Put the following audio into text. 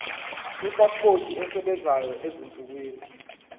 ipasipoti esebenzayo ezinsukwini